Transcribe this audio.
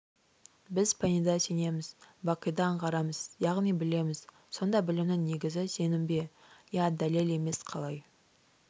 біз пәниде сенеміз бақида аңғарамыз яғни білеміз сонда білімнің негізі сенім бе иә дәлел емес қалай